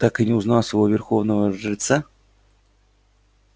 так и не узнав своего верховного жреца